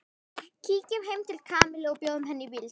Kíkjum heim til Kamillu og bjóðum henni í bíltúr